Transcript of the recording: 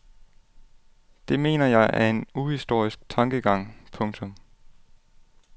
Det mener jeg er en uhistorisk tankegang. punktum